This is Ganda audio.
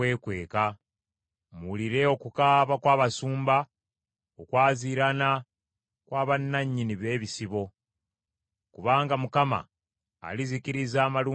Muwulire okukaaba kw’abasumba, okwaziirana kw’abanannyini b’ebisibo, kubanga Mukama alizikiriza amalundiro gaabwe.